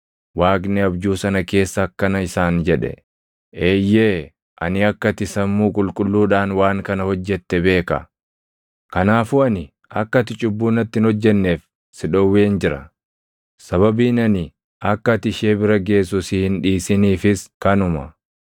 Waaqni abjuu sana keessa akkana isaan jedhe; “Eeyyee! Ani akka ati sammuu qulqulluudhaan waan kana hojjette beeka; kanaafuu ani akka ati cubbuu natti hin hojjenneef si dhowween jira. Sababiin ani akka ati ishee bira geessu si hin dhiisiniifis kanuma.